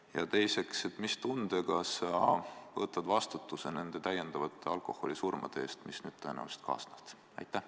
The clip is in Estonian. Ja teiseks, mis tundega sa võtad vastutuse nende täiendavate alkoholisurmade eest, mis nüüd tõenäoliselt kaasnevad?